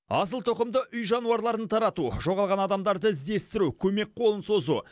асылтұқымды үй жануарларын тарату жоғалған адамдарды іздестіру көмек қолын созу